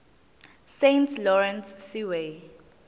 saint lawrence seaway